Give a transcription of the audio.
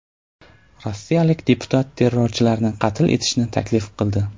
Rossiyalik deputat terrorchilarni qatl etishni taklif qildi.